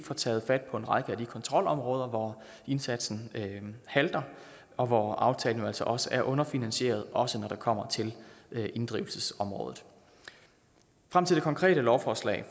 taget fat på en række af de kontrolområder hvor indsatsen halter og hvor aftalen jo altså også er underfinansieret også når det kommer til inddrivelsesområdet frem til det konkrete lovforslag